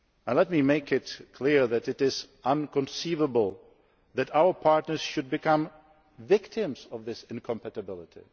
Let me make it clear that it is inconceivable that our partners should become victims of that incompatibility.